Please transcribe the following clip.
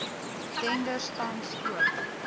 tenders tans oop